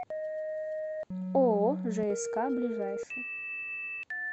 ооо жск ближайший